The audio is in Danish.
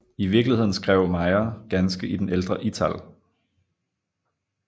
I virkeligheden skrev Mayr ganske i den ældre ital